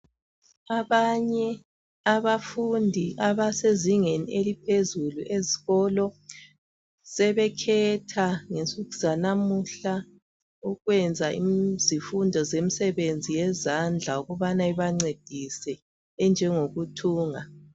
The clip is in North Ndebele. Abanye abafundi abasezingeni eliphezulu ezikolo ,sebekhetha ngensuku zanamuhla ukwenza izimfundo zemsebenzi yezandla ukubana ibancedise enjengokuthunga.